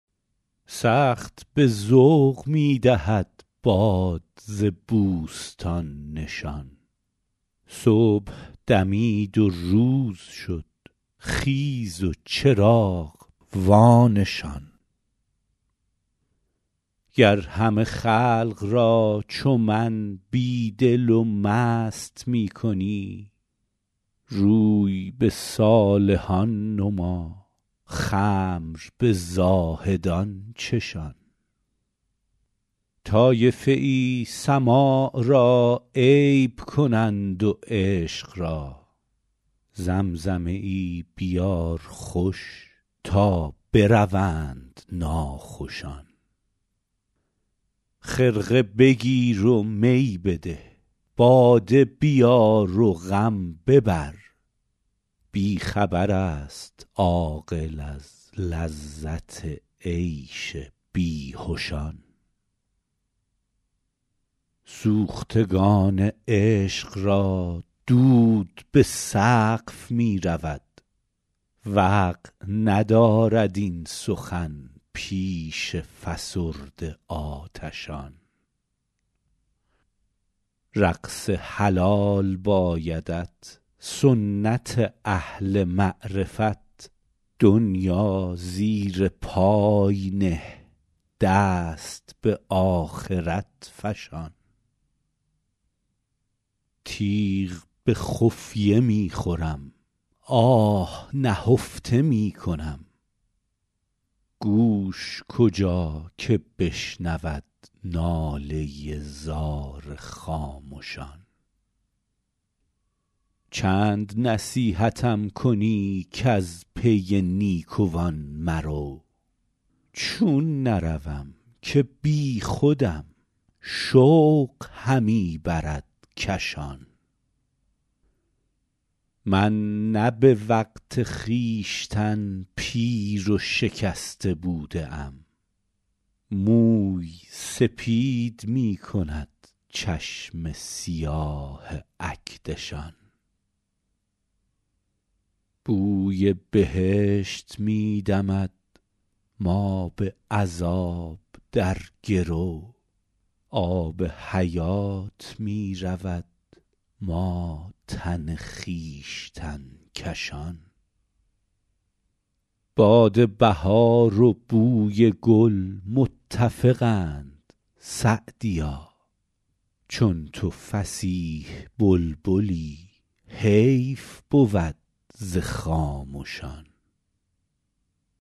سخت به ذوق می دهد باد ز بوستان نشان صبح دمید و روز شد خیز و چراغ وانشان گر همه خلق را چو من بی دل و مست می کنی روی به صالحان نما خمر به زاهدان چشان طایفه ای سماع را عیب کنند و عشق را زمزمه ای بیار خوش تا بروند ناخوشان خرقه بگیر و می بده باده بیار و غم ببر بی خبر است عاقل از لذت عیش بیهشان سوختگان عشق را دود به سقف می رود وقع ندارد این سخن پیش فسرده آتشان رقص حلال بایدت سنت اهل معرفت دنیا زیر پای نه دست به آخرت فشان تیغ به خفیه می خورم آه نهفته می کنم گوش کجا که بشنود ناله زار خامشان چند نصیحتم کنی کز پی نیکوان مرو چون نروم که بیخودم شوق همی برد کشان من نه به وقت خویشتن پیر و شکسته بوده ام موی سپید می کند چشم سیاه اکدشان بوی بهشت می دمد ما به عذاب در گرو آب حیات می رود ما تن خویشتن کشان باد بهار و بوی گل متفقند سعدیا چون تو فصیح بلبلی حیف بود ز خامشان